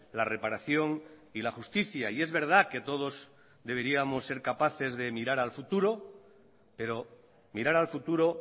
la reparación y la justicia y es verdad que todos deberíamos ser capaces de mirar al futuro pero mirar al futuro